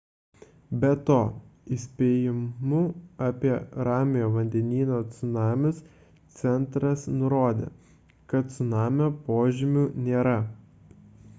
be to įspėjimų apie ramiojo vandenyno cunamius centras nurodė kad cunamio požymių nėra